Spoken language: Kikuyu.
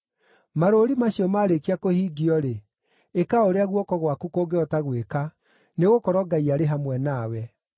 Marũũri macio maarĩkia kũhingio-rĩ, ĩka o ũrĩa guoko gwaku kũngĩhota gwĩka, nĩgũkorwo Ngai arĩ hamwe nawe.